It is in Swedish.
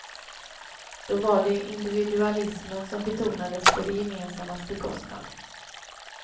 Då var det individualismen som betonades på det gemensammas bekostnad.